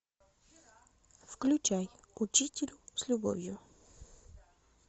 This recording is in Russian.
включай учитель с любовью